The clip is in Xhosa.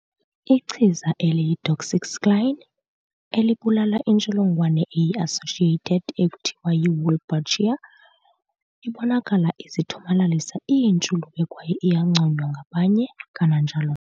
Ichiza eliyi- doxycycline, elibulala intsholongwane eyi-associated ekuthiwa yi-"Wolbachia", ibonakala izithomalalisa iintshulube kwaye iyanconywa ngabanye kananjalo.